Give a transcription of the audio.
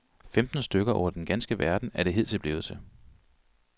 Femten stykker over den ganske verden er det hidtil blevet til.